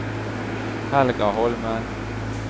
Helga Holmen